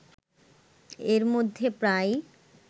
এর মধ্যে প্রায়